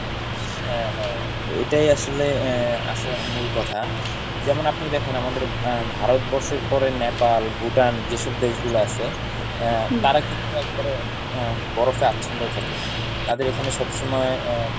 হ্যাঁ হ্যাঁ এটাই আসলে আহ আসল মূল কথা যেমন আপনি দেখেন আমাদের আহ ভারতবর্ষের পরে Nepal, Bhutan যেইসব দেশগুলা আছে আহ তারা কিন্তু একবারে আহ বরফে আচ্ছন্ন থাকে। তাদের এইখানে সবসময় আহ